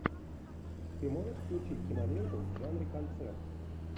ты можешь включить киноленту в жанре концерт